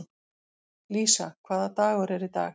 Lísa, hvaða dagur er í dag?